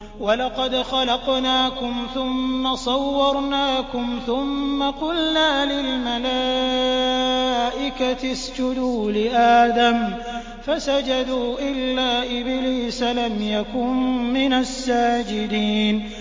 وَلَقَدْ خَلَقْنَاكُمْ ثُمَّ صَوَّرْنَاكُمْ ثُمَّ قُلْنَا لِلْمَلَائِكَةِ اسْجُدُوا لِآدَمَ فَسَجَدُوا إِلَّا إِبْلِيسَ لَمْ يَكُن مِّنَ السَّاجِدِينَ